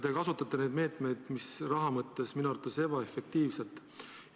Te kasutate neid meetmeid, mis raha mõttes on minu arvates ebaefektiivsed.